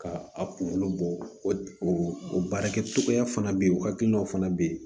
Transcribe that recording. Ka a kunkolo bɔ o baarakɛcogoya fana bɛ yen o hakilinaw fana bɛ yen